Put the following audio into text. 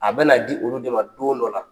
A bɛna na di olu de ma don dɔ la.